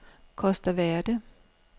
Costa Verde